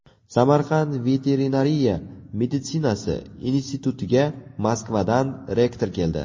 Samarqand veterinariya meditsinasi institutiga Moskvadan rektor keldi.